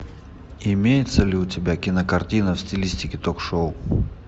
имеется ли у тебя кинокартина в стилистике ток шоу